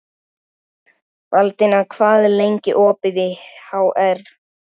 Baldína, hvað er lengi opið í HR?